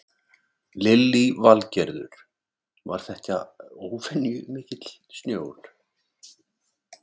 Lillý Valgerður: Var þetta óvenju mikill snjór?